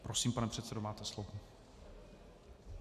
Prosím, pane předsedo, máte slovo.